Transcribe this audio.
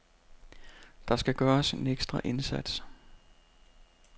Der skal gøres en ekstra indsats.